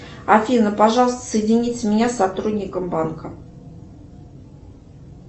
афина пожалуйста соедините меня с сотрудником банка